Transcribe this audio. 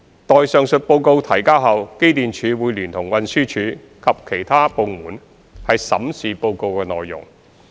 待上述報告提交後，機電署會聯同運輸署及其他部門審視報告內容。